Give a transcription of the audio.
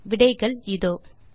விடைகள் இதோ 1